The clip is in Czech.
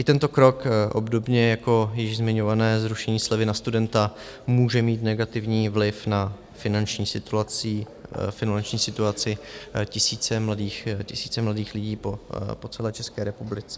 I tento krok, obdobně jako již zmiňované zrušení slevy na studenta, může mít negativní vliv na finanční situaci tisíce mladých lidí po celé České republice.